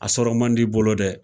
A sɔrɔ man di, i bolo dɛ